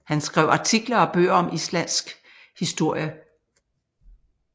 Han skrev artikler og bøger om Islandsk historie